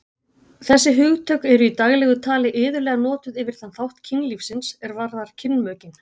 Þessi hugtök eru í daglegu tali iðulega notuð yfir þann þátt kynlífsins er varðar kynmökin.